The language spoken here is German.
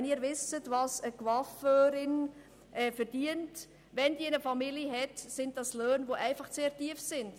Wenn Sie wissen, was eine Coiffeuse mit Familie verdient, wissen Sie auch, dass diese Löhne sehr tief sind.